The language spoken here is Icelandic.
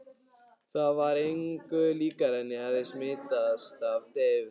Það var engu líkara en ég hefði smitast af deyfð